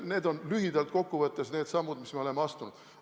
Need on lühidalt kokkuvõttes need sammud, mis me oleme astunud.